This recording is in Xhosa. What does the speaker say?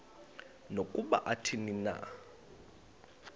nokuba athini na